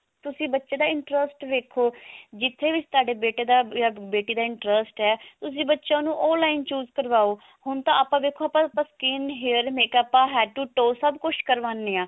ਤੁਸੀਂ ਬੱਚੇ ਦਾ interest ਦੇਖੋ ਜਿੱਥੇ ਵੀ ਤੁਹਾਡੇ ਬੇਟੇ ਦਾ ਜਾਂ ਬੇਟੀ ਦਾ interest ਹੈ ਤੁਸੀਂ ਬੱਚਿਆਂ ਨੂੰ ਉਹ line choose ਕਰਵਾਓ ਹੁਣ ਤਾਂ ਵੇਖੋਂ ਆਪਾ ਆਪਾ skin hair makeup head to toe ਸਭ ਕੁਛ ਕਰਵਾਉਣੇ ਹਾਂ